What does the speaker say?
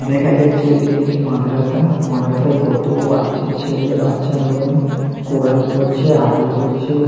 দেখা যাচ্ছে এটি একটি মাদ্রাসা। মাদ্রাসায় কত বাচ্চা ছেলে বাচ্চা মেয়ে কোরআন পড়ছে আরবি পড়ছে।